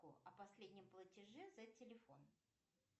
о последнем платеже за телефон